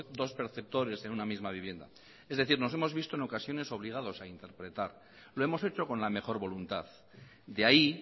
dos perceptores en una misma vivienda es decir nos hemos visto en ocasiones obligados a interpretar lo hemos hecho con la mejor voluntad de ahí